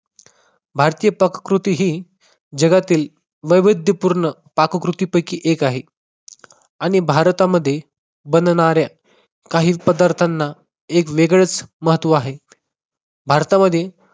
भारतीय पाककृती ही जगातील वैविध्यपूर्ण पाककृती पैकी एक आहे. आणि भारतामध्ये बनणाऱ्या काही पदार्थांना एक वेगळेच महत्त्व आहे. भारतामधील